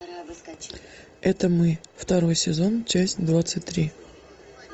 это мы второй сезон часть двадцать три